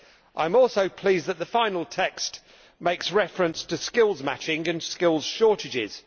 I am also pleased that the final text makes to reference to skills matching and skills shortages.